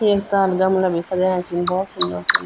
ये ताल गमला भी सजयाँ छिं बहौत सुंदर-सुंदर।